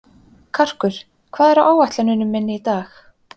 Karkur, hvað er á áætluninni minni í dag?